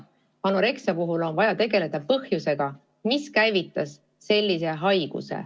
Anoreksia puhul on vaja tegelda põhjusega, mis selle haiguse käivitas.